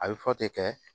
A bɛ fɔ ten kɛ